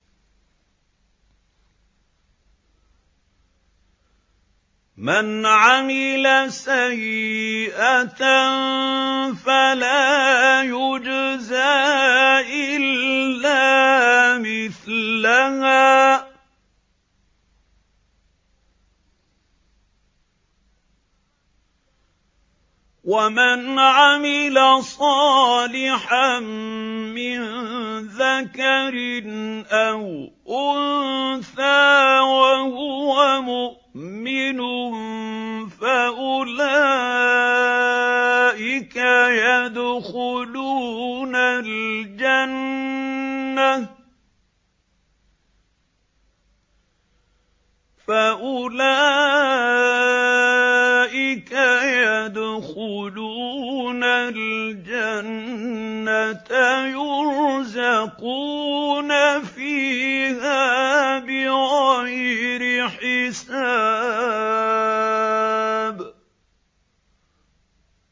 مَنْ عَمِلَ سَيِّئَةً فَلَا يُجْزَىٰ إِلَّا مِثْلَهَا ۖ وَمَنْ عَمِلَ صَالِحًا مِّن ذَكَرٍ أَوْ أُنثَىٰ وَهُوَ مُؤْمِنٌ فَأُولَٰئِكَ يَدْخُلُونَ الْجَنَّةَ يُرْزَقُونَ فِيهَا بِغَيْرِ حِسَابٍ